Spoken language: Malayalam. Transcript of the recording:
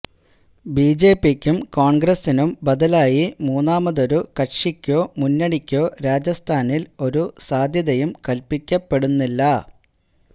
ബി ജെ പിക്കും കോണ്ഗ്രസിനും ബദലായി മൂന്നാമതൊരു കക്ഷിക്കൊ മുന്നണിക്കോ രാജസ്ഥാനില് ഒരു സാധ്യതയും കല്പ്പിക്കപ്പെടുന്നില്ല